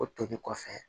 O toli kɔfɛ